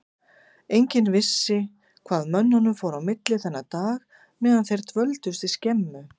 Enginn vissi hvað mönnunum fór á milli þennan dag meðan þeir dvöldust úti í skemmu.